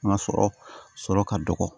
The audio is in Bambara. Ŋa sɔrɔ sɔrɔ ka dɔgɔ